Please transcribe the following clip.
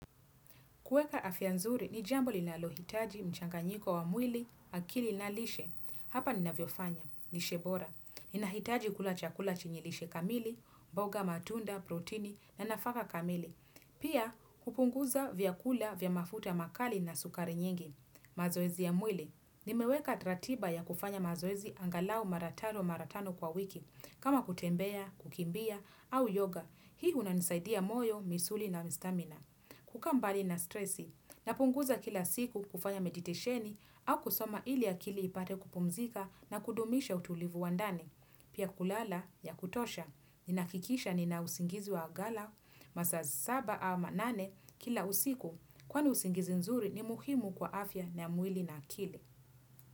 Kueka afya nzuri, ni jambo linalohitaji mchanga nyiko wa mwili, akili na lishe. Hapa nina vyofanya, lishebora. Nina hitaji kula chakula chenyilishe kamili, mboga matunda, protini, na nafaka kamili. Pia, kupunguza vyakula vyamafuta makali na sukari nyingi. Mazoezi ya mwili. Nimeweka taratiba ya kufanya mazoezi angalau maratano maratano kwa wiki. Kama kutembea, kukimbia, au yoga. Hii hunanisaidia moyo, misuli na mistamina. Kukaa mbali na stresi, napunguza kila siku kufanya meditisheni au kusoma ili akili ipate kupumzika na kudumisha utulivu wandani. Pia kulala ya kutosha, ninahakikisha ninausingizi wa agala, masaa saba ama nane kila usiku kwani usingizi nzuri ni muhimu kwa afya na mwili na akili.